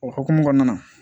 O hukumu kɔnɔna na